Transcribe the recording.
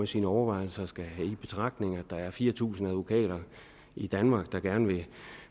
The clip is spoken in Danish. sine overvejelser skal tage i betragtning at der er fire tusind advokater i danmark der gerne vil